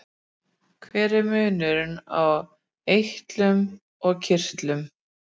hver er munurinn á eitlum og kirtlum